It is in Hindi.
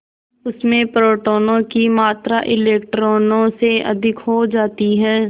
उसमें प्रोटोनों की मात्रा इलेक्ट्रॉनों से अधिक हो जाती है